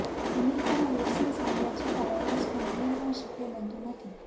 અમેરિકામાં વેકિસન્સ આવ્યા છતાં વાઇરસ પર નિયંત્રણ શકય બનતું નથી